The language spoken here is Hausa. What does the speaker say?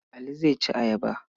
Ali zai ci ayaba.